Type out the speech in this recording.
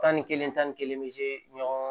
Tan ni kelen tan ni kelen bɛ ɲɔgɔn